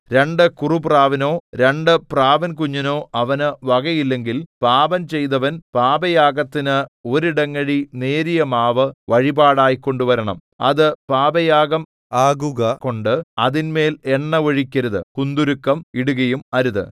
രണ്ടു കുറുപ്രാവിനോ രണ്ടു പ്രാവിൻകുഞ്ഞിനോ അവനു വകയില്ലെങ്കിൽ പാപം ചെയ്തവൻ പാപയാഗത്തിന് ഒരിടങ്ങഴി നേരിയ മാവ് വഴിപാടായി കൊണ്ടുവരണം അത് പാപയാഗം ആകുക കൊണ്ട് അതിന്മേൽ എണ്ണ ഒഴിക്കരുത് കുന്തുരുക്കം ഇടുകയും അരുത്